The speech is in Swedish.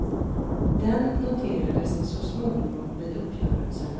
Den noterades så småningom vid uppgörelserna.